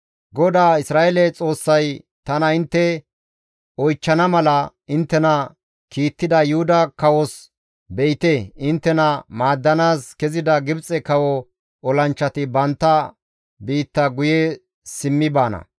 GODAA Isra7eele Xoossay, «Tana intte oychchana mala inttena kiittida Yuhuda kawos, ‹Be7ite, inttena maaddanaas kezida Gibxe kawo olanchchati bantta biitta guye simmi baana.